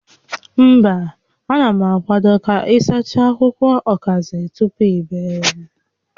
Mba, a na m akwado ka ị sachaa akwụkwọ ọkazị tupu i bee ya